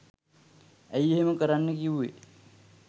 ඇයි එහෙම කරන්න කිව්වෙ